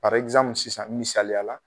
sisan misaliya la